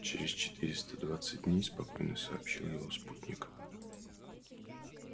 через четыреста двадцать дней спокойно сообщил его спутник